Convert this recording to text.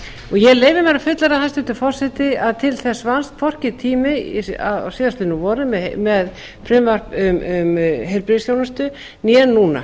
ég leyfi mér að fullyrða hæstvirtur forseti að til þess vannst hvorki tími á síðastliðnu vori með frumvarp um heilbrigðisþjónustu né núna